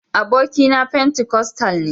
abokina pentikostal ne.